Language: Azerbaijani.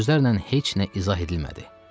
Sözlərlə heç nə izah edilmədi.